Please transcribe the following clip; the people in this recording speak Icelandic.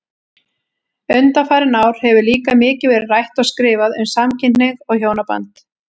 Undanfarin ár hefur líka mikið verið rætt og skrifað um samkynhneigð og hjónaband.